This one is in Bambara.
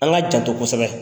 An ka janto kosɛbɛ,